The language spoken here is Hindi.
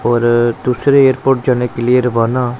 और दूसरे एयरपोर्ट जाने के लिए रवाना--